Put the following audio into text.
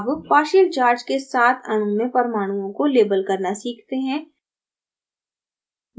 अब partial charge के साथ अणु में परमाणुओं को label करना सीखते हैं